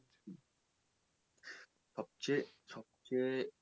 সবচেয়ে, সবচেয়ে,